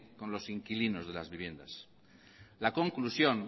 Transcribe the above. con los inquilinos de las viviendas la conclusión